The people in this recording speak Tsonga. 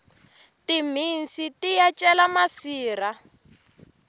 timhisi yiya cela masirha